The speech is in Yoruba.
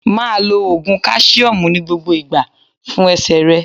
Máa lo Ògùn káṣíọ́mù ní gbogbo ìgbà fún ẹsẹ̀ rẹ.